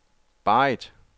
Barrit